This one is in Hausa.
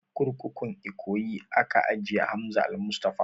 A kurkukun ikoyi aka ajiye Hamza almustapha